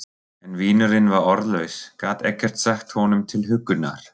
En vinurinn var orðlaus, gat ekkert sagt honum til huggunar.